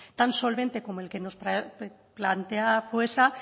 tan solvente como el que nos plantea foesa